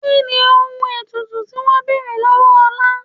Kí ni ohun ètùtù tí wọn ń bèrè lọ́wọ́ Ọlá?